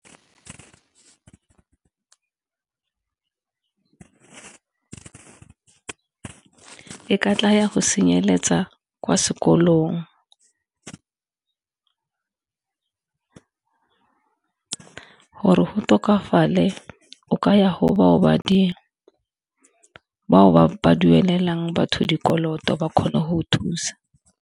E ka tla ya go senyeletsa kwa sekolong, gore go tokafale o ka ya go bao ba duelelang batho dikoloto ba kgone go thusa.